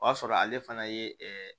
O y'a sɔrɔ ale fana ye